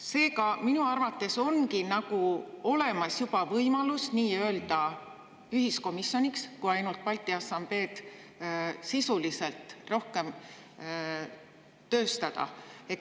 Seega ongi minu arvates nagu juba olemas nii-öelda ühiskomisjoni võimalus, kui ainult Balti Assambleed sisuliselt rohkem tööstada.